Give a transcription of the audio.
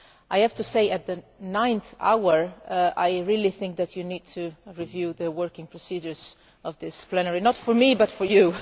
I have to say at the ninth hour that I really think you need to review the working procedures of this plenary not for me but for you.